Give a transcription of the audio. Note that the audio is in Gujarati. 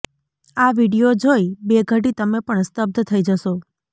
આ વીડિયો જોઇ બે ઘડી તમે પણ સ્તબ્ધ થઇ જશો